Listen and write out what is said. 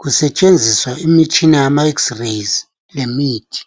kusetshenziswa imitshina yama x-rays lemithi.